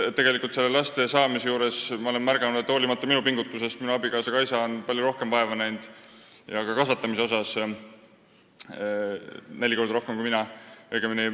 Tegelikult olen ma ju näinud, et laste saamisel on abikaasa Kaisa minust palju rohkem vaeva näinud ja nende kasvatamisel minu pingutusest hoolimata suisa neli korda rohkem.